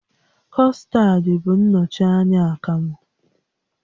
Custard bụ nnọchi anya akamụ